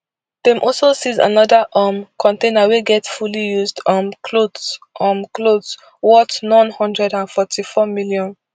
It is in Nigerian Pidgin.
dem also seize anoda um container wey get fairly used um clothes um clothes worth n one hundred and forty-four million